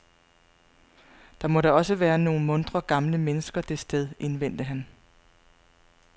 Der må da også være nogle muntre gamle mennesker det sted, indvendte han.